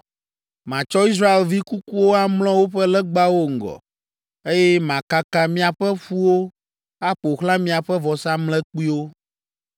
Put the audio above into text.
Matsɔ Israelvi kukuwo amlɔ woƒe legbawo ŋgɔ, eye makaka miaƒe ƒuwo aƒo xlã miaƒe vɔsamlekpuiwo.